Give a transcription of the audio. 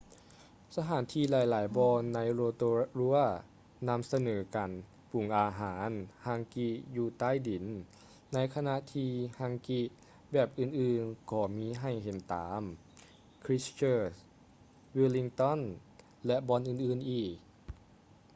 ສະຖານທີ່ຫຼາຍໆບ່ອນໃນ rotorua ນຳສະເໜີການປຸງອາຫານ hangi ຢູ່ໃຕ້ດິນ ໃນຂະນະທີ່ hangi ແບບອື່ນໆກໍມີໃຫ້ເຫັນຕາມ christchurch wellington ແລະ ບ່ອນອື່ນໆອີກ